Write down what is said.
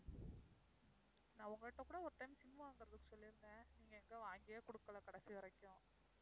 நான் உங்கள்ட்ட கூட ஒரு time sim வாங்குறதுக்கு சொல்லியிருந்தேன், நீங்க எங்க வாங்கியே கொடுக்கலை கடைசி வரைக்கும்.